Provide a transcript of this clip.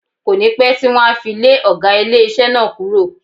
Kò ní pẹ́ tí wọ́n á fi lé ọ̀gá ilé iṣẹ́ náà kúrò.